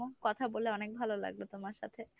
কথা বলে অনেক ভালো লাগলো তোমার সাথে।